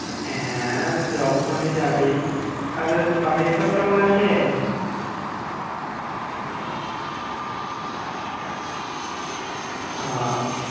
হ্যাঁ, যখনই যাবি। আচ্ছা, বাড়ির সব কেমন আছে? বাড়ির সব মোটামুটি ভালোই আছে। ও।